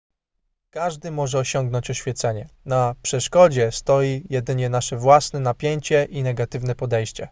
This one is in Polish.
każdy może osiągnąć oświecenie na przeszkodzie stoi jedynie nasze własne napięcie i negatywne podejście